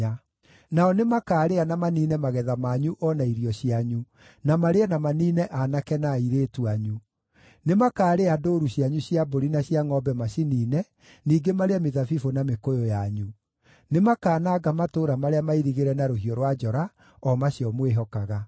Nao nĩmakaarĩa na maniine magetha manyu o na irio cianyu, na marĩe na maniine aanake na airĩtu anyu; nĩmakaarĩa ndũũru cianyu cia mbũri na cia ngʼombe maciniine, ningĩ marĩe mĩthabibũ na mĩkũyũ yanyu. Nĩmakananga matũũra marĩa mairigĩre na rũhiũ rwa njora, o macio mwĩhokaga.